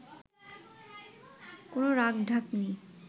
কোন রাখঢাক নেই”